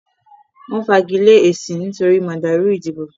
wọ́n fagilé èsì nítorí màdàrù ìdìbò.